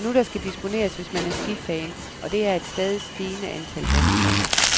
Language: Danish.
Det er nu, der skal disponeres, hvis man er skifan, og det er et stadigt stigende antal danskere.